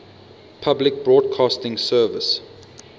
public broadcasting service